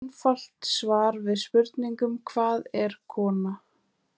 Einfalt svarið við spurningunni Hvað er kona?